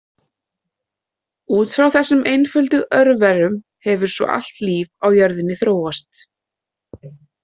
Út frá þessum einföldu örverum hefur svo allt líf á jörðinni þróast.